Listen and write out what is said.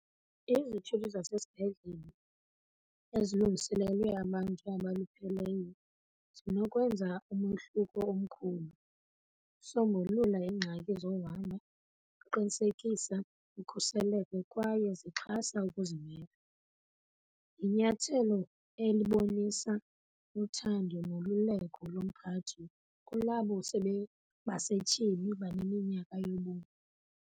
Izithuthi zasesibhedlele ezilungiselelwe abantu abalupheleyo zinokwenza umohluko omkhulu, zisombulula iingxaki zohamba, ziqinisekisa ukhuseleko kwaye zixhasa ukuzimela. Linyathelo elibonisa uthando nolululeko lomphathi kulabo basetyhini baneminyaka yobomi.